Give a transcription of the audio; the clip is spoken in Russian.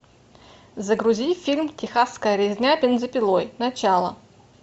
загрузи фильм техасская резня бензопилой начало